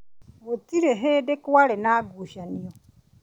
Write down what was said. Gũtirĩ hĩndĩ kwarĩ na ngucanio.